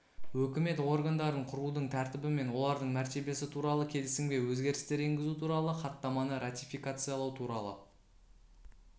өкімет органдарын құрудың тәртібі мен олардың мәртебесі туралы келісімге өзгерістер енгізу туралы хаттаманы ратификациялау туралы